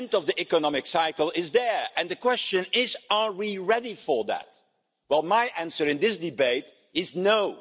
The end of the economic cycle is there and the question is are we ready for that? Well, my answer in this debate is